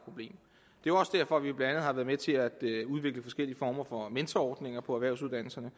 jo også derfor vi blandt andet har været med til at udvikle forskellige former for mentorordninger på erhvervsuddannelserne